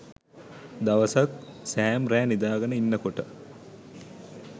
දවසක් සෑම් රෑ නිදාගෙන ඉන්නකොට